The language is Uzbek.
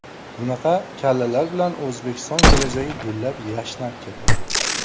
Bunaqa kallalar bilan O‘zbekiston kelajagi gullab-yashnab ketadi.